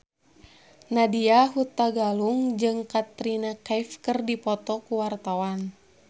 Nadya Hutagalung jeung Katrina Kaif keur dipoto ku wartawan